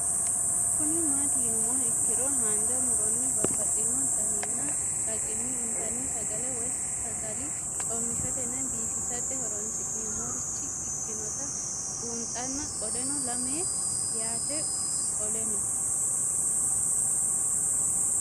Kuni mati yinumoha ikiro hanja muroni babaxino daninina ragini intani sagale woyi sagali comishatenna bifisate horonsine'morich ikinota bunxana qoleno lame yaate qoleno?